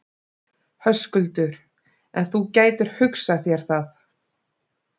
Höskuldur:. en þú gætir hugsað þér það?